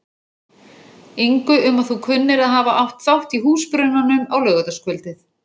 ingu um að þú kunnir að hafa átt þátt í húsbrunanum á laugardagskvöldið.